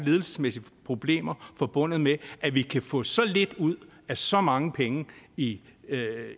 ledelsesmæssige problemer forbundet med at vi kan få så lidt ud af så mange penge i